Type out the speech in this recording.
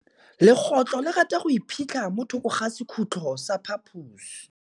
Legôtlô le rata go iphitlha mo thokô ga sekhutlo sa phaposi.